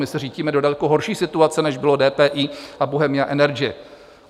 My se řítíme do daleko horší situace, než bylo DPI a Bohemia Energy.